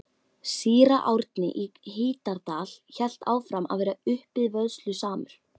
Síra Árni í Hítardal hélt áfram að vera uppivöðslusamur.